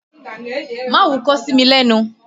Má wúkọ́ sí mi lẹ́nu!